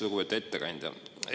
Lugupeetud ettekandja!